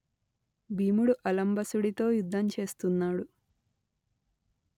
భీముడు అలంబసుడితో యుద్ధం చేస్తున్నాడు